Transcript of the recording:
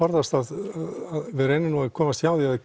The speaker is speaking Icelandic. við reynum nú að komast hjá því að